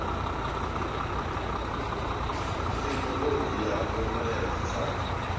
thekinolodzhi yapo na ya dzitshaka